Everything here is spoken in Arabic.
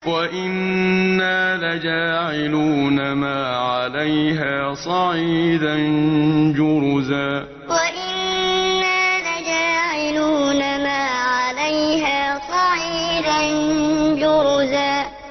وَإِنَّا لَجَاعِلُونَ مَا عَلَيْهَا صَعِيدًا جُرُزًا وَإِنَّا لَجَاعِلُونَ مَا عَلَيْهَا صَعِيدًا جُرُزًا